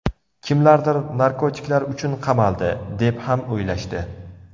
Kimlardir narkotiklar uchun qamaldi, deb ham o‘ylashdi.